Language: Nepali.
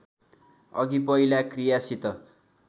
अघि पहिला क्रियासित